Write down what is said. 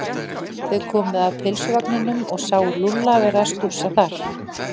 Þau komu að pylsuvagninum og sáu Lúlla vera að stússa þar.